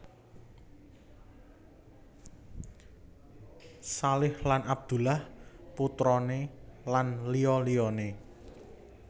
Shalih Lan Abdullah putrane lan liya liyane